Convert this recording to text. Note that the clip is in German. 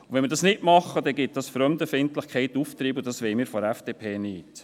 Tun wir dies nicht, gibt das der Fremdenfeindlichkeit Auftrieb, und das wollen wir von der FDP nicht.